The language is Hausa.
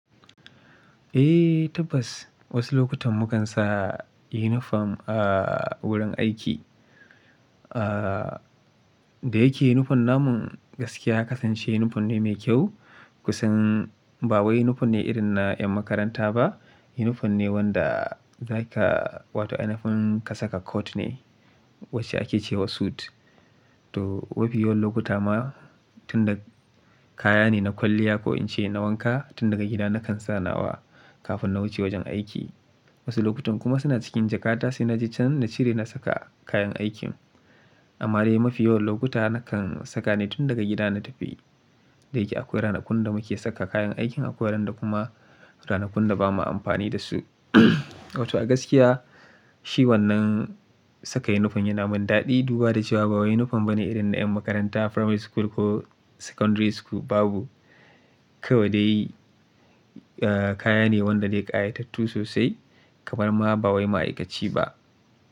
Eh tabbas wasu lokutan mu kan sa uniform a wurin aiki. Da yake uniform na mun gaskiya ya kasance uniform ne mai kyau. Kusan ba wai uniform ne irin na ƴan makaranta ba. Uniform ne wanda za ka wato ainfin ka saka kot ne wacce ake ce wa suit. To mafi yawan lokuta ma tun da kaya ne na kwalliya ko in ce na wanka tun daga gida na kan sa nawa kafin na wuce wajen aiki. Wasu lokutan kuma suna cikin jakata sai na je can na cire na saka kayan aikin. Amma dai mafi yawan lokuta na kan saka ne tun daga gida na tafi. Da yake akwai ranakun da muke saka kayan aikin akwai ran da kuma ranakun da ba mu amfani da su. Wato a gaskiya shi wannan saka uniform yana mun daɗi duba da cewa ba wai uuniform bane irin na ƴan makaranta primary school ko secondary school babu. Kawai dai kaya ne wanda dai ƙayatattu sosai kamar ma ba wai ma'aikaci ba.